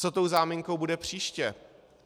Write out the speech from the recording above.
Co tou záminkou bude příště?